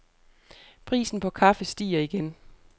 Prisen på kaffe stiger igen.